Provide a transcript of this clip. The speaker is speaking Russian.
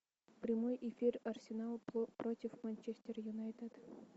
прямой эфир арсенал против манчестер юнайтед